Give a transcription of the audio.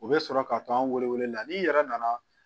U bɛ sɔrɔ ka to an wele la n'i yɛrɛ nana